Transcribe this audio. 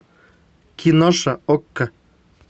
киноша окко